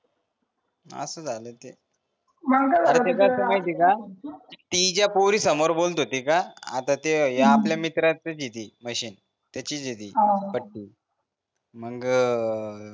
असं झालं ते ते कसय माहिते का ती ज्या पोरींसमोर बोलत होती का आता ते ह्या आपल्या मित्राचच हे ते मशीन त्याचीच हे ती पट्टू मंग